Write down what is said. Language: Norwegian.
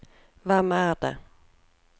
hvem er det